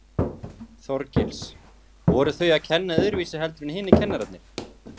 Þorgils: Voru þau að kenna öðruvísi heldur en hinir kennararnir?